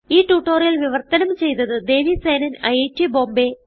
ഈ ട്യൂട്ടോറിയൽ വിവർത്തനം ചെയ്തത് ദേവി സേനൻ ഐറ്റ് ബോംബേ